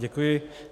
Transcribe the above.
Děkuji.